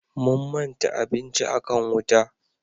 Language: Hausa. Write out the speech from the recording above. Mun manta abinci a kan wuta